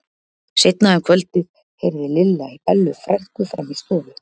Seinna um kvöldið heyrði Lilla í Bellu frænku frammi í stofu.